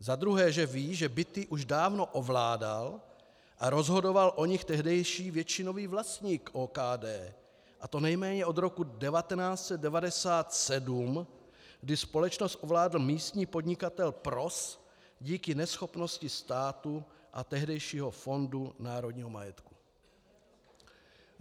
Za druhé, že ví, že byty už dávno ovládal a rozhodoval o nich tehdejší většinový vlastník OKD, a to nejméně od roku 1997, kdy společnost ovládl místní podnikatel Pros díky neschopnosti státu a tehdejšího Fondu národního majetku.